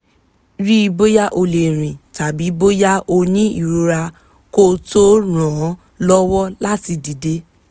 rí i bóyá ó lè rìn tàbí bóyá ó ní ìrora kó o tó ràn án lọ́wọ́ láti dìde